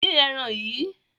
Dín ẹran yìí!